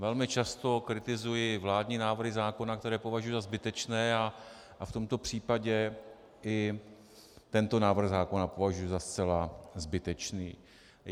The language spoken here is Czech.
Velmi často kritizuji vládní návrhy zákona, které považuji za zbytečné, a v tomto případě i tento návrh zákona považuji za zcela zbytečný.